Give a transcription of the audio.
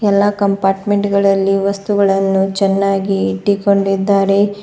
ಎಲ್ಲಾ ಕಂಪಾರ್ಟ್ಮೆಂಟ್ ಗಳಲ್ಲಿ ವಸ್ತುಗಳನ್ನು ಚೆನ್ನಾಗಿ ಇಟ್ಟುಕೊಂಡಿದ್ದಾರೆ.